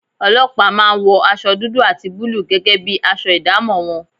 Ọlọ́pàá máa ń wọ aṣọ dúdú àti búlúù gẹ́gẹ́ bí aṣọ ìdámọ̀ wọn